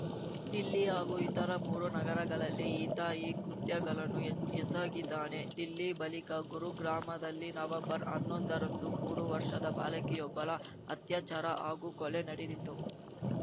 ದಿಲ್ಲಿ ಹಾಗೂ ಇತರ ಮೂರು ನಗರಗಳಲ್ಲಿ ಈತ ಈ ಕೃತ್ಯಗಳನ್ನು ಎ ಎಸಗಿದ್ದಾನೆ ದಿಲ್ಲಿ ಬಳಿಕ ಗುರುಗ್ರಾಮದಲ್ಲಿ ನವಂಬರ್ಹನ್ನೊಂದರಂದು ಮೂರು ವರ್ಷದ ಬಾಲಕಿಯೊಬ್ಬಳ ಅತ್ಯಾಚಾರ ಹಾಗೂ ಕೊಲೆ ನಡೆದಿತ್ತು